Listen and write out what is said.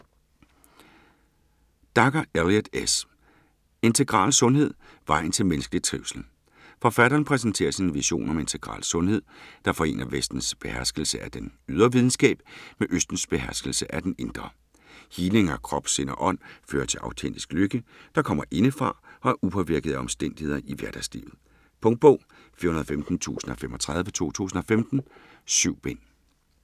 Dacher, Elliott S.: Integral sundhed: vejen til menneskelig trivsel Forfatteren præsenterer sin vision om integral sundhed, der forener Vestens beherskelse af den ydre videnskab med Østens beherskelse af den indre. Healing af krop, sind og ånd fører til autentisk lykke, der kommer indefra og er upåvirket af omstændigheder i hverdagslivet. Punktbog 415035 2015. 7 bind.